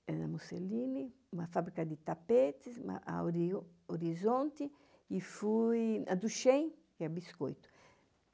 era na Mussolini, uma fábrica de tapetes, a Horizonte, e fui... a Duchenne, que é Biscoito.